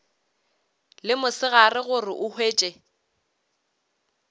le mosegare gore o hwetše